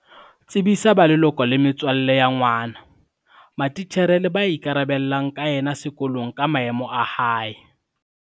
Tsebisa ba leloko le metswalle ya ngwana, matitjhere le ba ikarabellang ka yena sekolong ka maemo a hae.